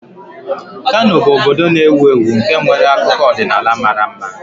Kano bụ obodo na-ewu ewu nke nwere akụkọ ọdịnala mara mma